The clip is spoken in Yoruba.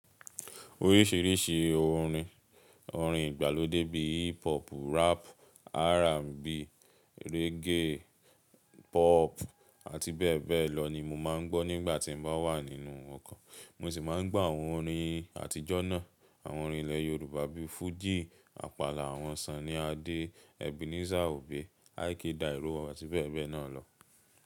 Oríṣìíríṣìí orin, orin ìgbàlódé bíi hip hop, rap, R&B, reggae, pop àti bẹ bẹ lọ ni mo máa ń gbọ́ nígbà tí mo bá wà nínú ọkọ̀. Mo sì máa ń gbọ́ àwọn orin àtijọ́ náà, àwọn orin ilẹ̀ Yorùbá bíi fújì, àpàlà àwọn Sànní Adé, Ebenezer Obey, I.K Dairo àti bẹ bẹ náà lọ.